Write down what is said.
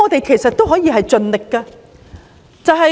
其實，我們可以盡力調查。